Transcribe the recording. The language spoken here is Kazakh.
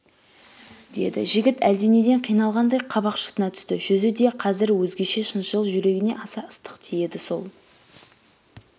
деді жігіт әлденеден қиналғандай қабақ шытына түсті жүзі деқазір өзгеше шыншыл жүрегіңе аса ыстық тиеді сол